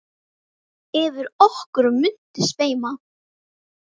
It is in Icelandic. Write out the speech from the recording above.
Yfir okkur muntu sveima.